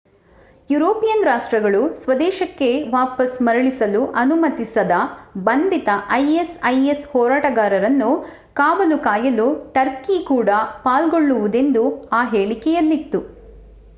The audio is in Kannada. ಯೂರೋಪಿಯನ್ ರಾಷ್ಟ್ರಗಳು ಸ್ವದೇಶಕ್ಕೆ ವಾಪಸ್ ಮರಳಿಸಲು ಅನುಮತಿಸದ ಬಂಧಿತ isis ಹೋರಾಟಗಾರನ್ನು ಕಾವಲು ಕಾಯಲು ಟರ್ಕಿ ಕೂಡ ಪಾಲ್ಗೊಳ್ಳುವುದೆಂದು ಆ ಹೇಳಿಕೆಯಲ್ಲಿತ್ತು